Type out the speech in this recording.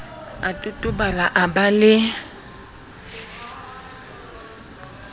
a totobala o ba le